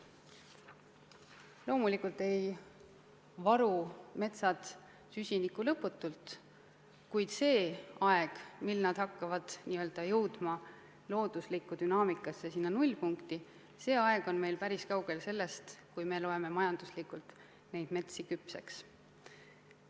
Loomulikult ei varu metsad süsinikku lõputult, kuid see aeg, mil nad hakkavad jõudma looduslikus dünaamikas sinna nullpunkti, on meil päris kaugel sellest, kui me loeme majanduslikult need metsad küpseks.